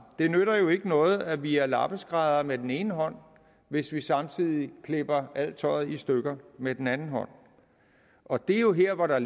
det nytter jo ikke noget at vi er lappeskræddere med den ene hånd hvis vi samtidig klipper alt tøjet i stykker med den anden hånd og det er jo her hvor der